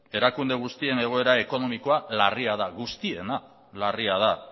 erakunde guztien egoera ekonomikoa larria da guztiena larria da